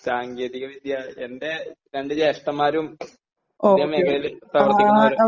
സാങ്കേതിക വിദ്യ എന്റെ രണ്ടു ജ്യേഷ്ഠന്മാരും ഇതേ മേഖലയില് പ്രവർത്തിക്കുന്നവരാണ്